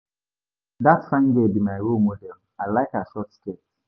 Dat fine girl be my role model. I like her short skirt.